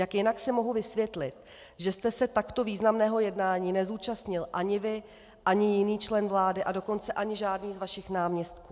Jak jinak si mohu vysvětlit, že jste se takto významného jednání nezúčastnil ani vy ani jiný člen vlády, a dokonce ani žádný z vašich náměstků?